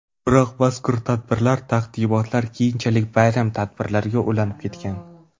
Biroq mazkur tadbirlar, taqdimotlar keyinchalik bayram tadbirlariga ulanib ketgan.